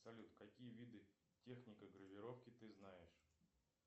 салют какие виды техника гравировки ты знаешь